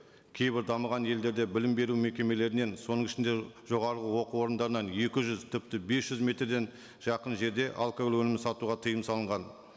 кейбір дамыған елдерде білім беру мекемелерінен соның ішінде жоғарғы оқу орындарынан екі жүз тіпті бес жүз метрден жақын жерде алкоголь өнімін сатуға тыйым салынған